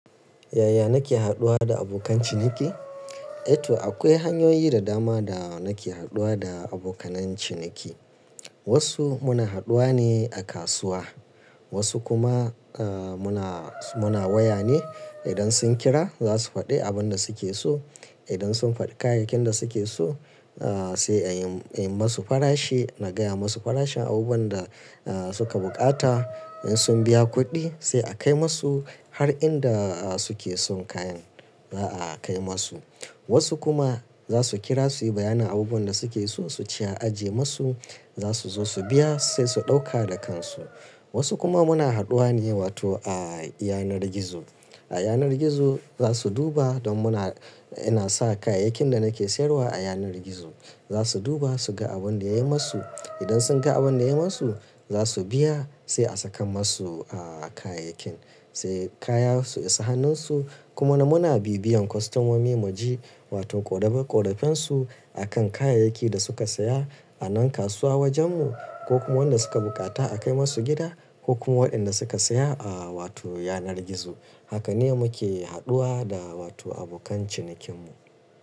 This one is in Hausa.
Yaya nake haɗuwa da abokan ciniki? Eh to akwai hanyoyi da dama da nake haɗuwa da abokan ciniki. Wasu muna haɗuwa ne a kasuwa, wasu kuma muna waya ne. Idan sun kira za su faɗi abin da suke so. Idan sun faɗi kayayyakin da suke so sai a yi masu farashi, na gaya masu farashin abubuwan da suka bukata. In sun biya kuɗi sai a kai masu har inda suke son kayan za a kai masu. Wasu kuma za su kira su yi bayanin abubuwan da suke so su ce a ajiye masu, za su zo su biya sai su ɗauka da kansu. Wasu kuma muna haɗuwa ne a yanar gizo. A yanar gizo za su duba don muna, ina sa kayayyakin da nake sayarwa a yanar gizo. Za su duba su ga abin da yayi masu. Idan sun ga abin da yayi masu za su biya sai a saka masu kayayyakin sai kaya su isa hannunsu. Kuma muna bibiyan kwastoman mu mai mu ji wato ƙorafen su akan kayayyaki da suka saya a nan kasuwa wajen mu ko kuma wanda suka bukata a kai masu gida ko kuma waɗanda suka saya a wato yanar gizo. Haka ne muke haɗuwa da wato abokan cinikin mu.